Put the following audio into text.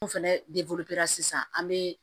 N'o fɛnɛ sisan an bɛ